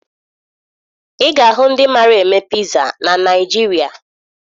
Ị ga-ahụ ndị mara eme piza na Naịjirịa